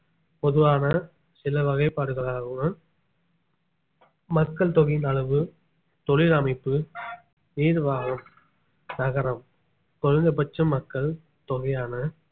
பொதுவான சில வகைபாடுகளாகவும் மக்கள் தொகையின் அளவு தொழில் அமைப்பு ஏதுவாக நகரம் குறைந்தபட்ச மக்கள் தொகையான